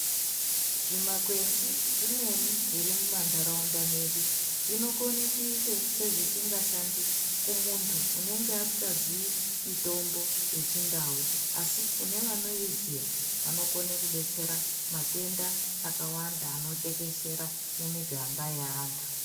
Zvimakwenzi zvimweni zvirimuma ndauraunda medu zvinokone kuita sezvisingashandi kumuntu unenge asingaziyi mitombo yechindau asi kune vanoiziya vanokone kudetsera matenda akawanda anotekeshera mumiganda yeantu.